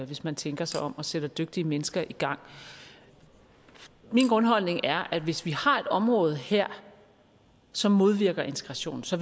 hvis man tænker sig om og sætter dygtige mennesker i gang min grundholdning er at hvis vi har et område her som modvirker integration så